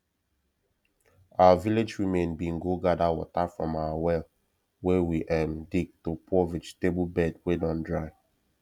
our village women bin go gather water from our well wey we um dig to pour vegetable bed wey don dry